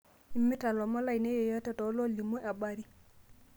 imirta lomon lainei yoyote too loolimu abari